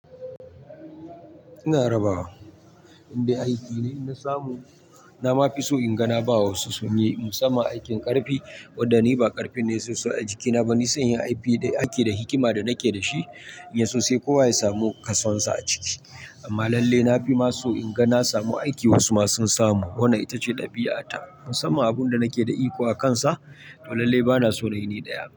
Ina rabawa, indai aiki na samu na ma fi so in ga na ba wa wasu sun yi musamman aikin ƙarfi, wadanda ni ba ƙarfin ne sosai a jikina. Nafison yin aiki da hikima da nake da shi, in ya so sai kowa ya samu ƙasansa a ciki. Amma lalle na fi ma so in ga na samu aiki wasu ma sun samu. Wannan ita ce ɗabi'ata musamman abunda nake da iko akansa. To lalle bana so na yi ni daya.